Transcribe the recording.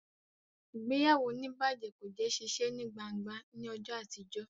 Ìgbéyàwó onibaje kò jé ṣiṣe ní gbángba ní ọjọ àtijọ